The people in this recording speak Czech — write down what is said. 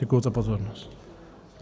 Děkuji za pozornost.